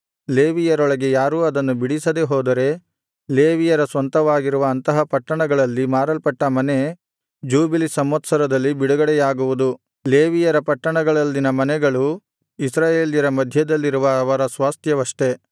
ಲೇವಿಯರೊಳಗೆ ಯಾರೂ ಅದನ್ನು ಬಿಡಿಸದೆಹೋದರೆ ಲೇವಿಯರ ಸ್ವಂತವಾಗಿರುವ ಅಂತಹ ಪಟ್ಟಣಗಳಲ್ಲಿ ಮಾರಲ್ಪಟ್ಟ ಮನೆ ಜೂಬಿಲಿ ಸಂವತ್ಸರದಲ್ಲಿ ಬಿಡುಗಡೆಯಾಗುವುದು ಲೇವಿಯರ ಪಟ್ಟಣಗಳಲ್ಲಿನ ಮನೆಗಳು ಇಸ್ರಾಯೇಲರ ಮಧ್ಯದಲ್ಲಿರುವ ಅವರ ಸ್ವಾಸ್ತ್ಯವಷ್ಡೆ